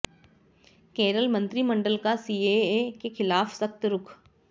केरल मंत्रिमंडल का सीएए के खिलाफ सख्त रूख